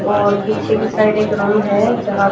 और पीछे की साइड एक रूम है जहां--